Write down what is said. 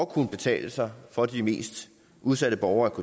kunne betale sig for de mest udsatte borgere